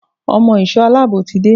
Ọmọ ìsò aláàbò ti dé.